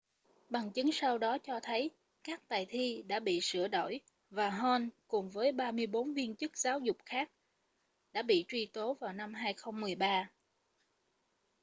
bằng chứng sau đó cho thấy các bài thi đã bị sửa đổi và hall cùng với 34 viên chức giáo dục khác đã bị truy tố vào năm 2013